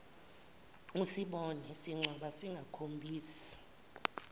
usibone sincwaba singakhombisi